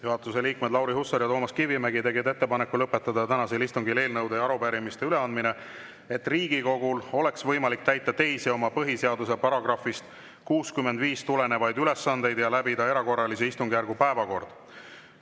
Juhatuse liikmed Lauri Hussar ja Toomas Kivimägi tegid ettepaneku lõpetada tänasel istungil eelnõude ja arupärimiste üleandmine, et Riigikogul oleks võimalik täita teisi oma põhiseaduse §-st 65 tulenevaid ülesandeid ja läbida erakorralise istungjärgu päevakord.